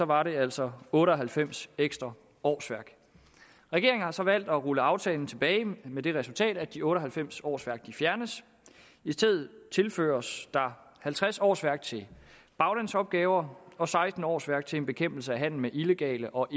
var det altså otte og halvfems ekstra årsværk regeringen har så valgt at rulle aftalen tilbage med det resultat at de otte og halvfems årsværk fjernes i stedet tilføres der halvtreds årsværk til baglandsopgaver og seksten årsværk til en bekæmpelse af handel med illegale og